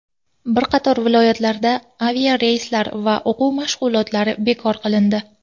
Bir qator viloyatlarda aviareyslar va o‘quv mashg‘ulotlari bekor qilindi.